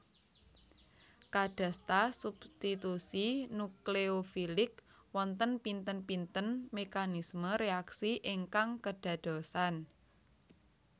Kadasta substitusi nukleofilik wonten pinten pinten mekanisme reaksi ingkang kedadosan